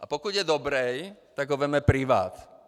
A pokud je dobrý, tak ho vezme privát.